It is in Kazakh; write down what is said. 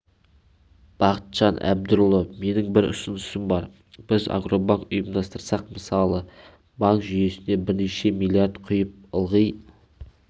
бақытжан әбдірұлы менің бір ұсынысым бар біз агробанк ұйымдастырсақ мысалы банк жүйесіне бірнеше миллиард құйып ылғи